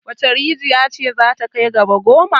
Wace rijiya ce za ta kai gaba goma?